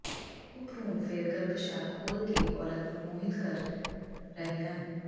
ਉਪਜਾਊ ਭਰੂਣ ਫਿਰ ਗਰੱਭਾਸ਼ਯ ਖੋਲ ਵਿੱਚ ਔਰਤ ਨੂੰ ਮੋਹਿਤ ਕਰਨ ਕਰ ਰਹੇ ਹਨ